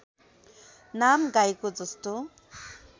नाम गाईको जस्तो